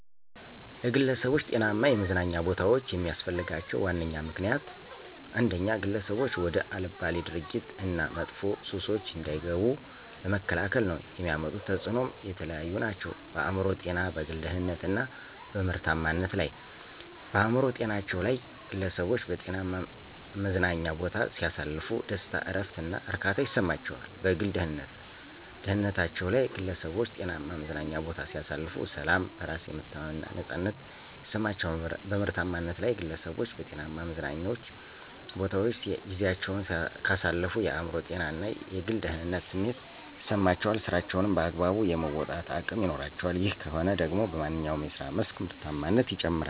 ለግለሠቦች ጤናማ የመዝናኛ ቦታዎች የሚስፈልጋቸው ዋነኛ ምክንያት፦ ግለሠቦች ወደ አልባሌ ድርጊቶች እና መጥፎ ሱሶች እንዳይገቡ ለመከላከል ነው። የሚያመጡት ተፅኖም የተለያዩ ናቸው፦ በአእምሮ ጤና፣ በግል ደህንነት እና በምርታማነት ላይ። -በአእምሮ ጤናቸው ላይ፦ ግለሠቦች በጤናማ መዝናኛ ቦታ ሲያሳልፉ ደስታ፣ እረፍት እና እርካታ ይሠማቸዋል። -በግል ደህንነታቸ ላይ ግለሠቦች ጤናማ መዝናኛ ቦታ ሲያሳልፉ፦ ሠላም፣ በራስ የመተማመን እና ነፃነት ይማቸዋል። -በምርታማነት ላይ፦ ግለሠቦች በጤናማ መዝናኞ ቦታወች ጊዚያቸውን ካሳለፉ የአእምሮ ጤና እና የግል ደህንነት ስሜት ይሠማቸዋል ስራቸውንም በአግባቡ የመወጣት አቅም ይኖራቸዋል። ይህ ከሆነ ደግሞ በማንኛው የስራ መስክ ምርታማነት ይጨምራል።